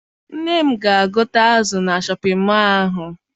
Nne m ga gote azụ na Shọpịn mọọ ahụ.